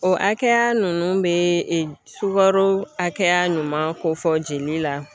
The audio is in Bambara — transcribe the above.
O hakɛya ninnu bɛ sukaro hakɛya ɲuman kofɔ jeli la